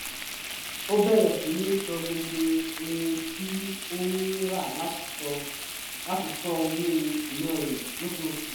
ó bẹ̀rẹ̀ síní ṣọ gbogbo ohun tí ó ń rà láti ṣọ́ owó ìná rẹ lóṣooṣù